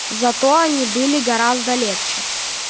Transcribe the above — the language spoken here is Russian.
зато они были гораздо легче